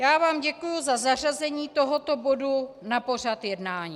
Já vám děkuji za zařazení tohoto bodu na pořad jednání.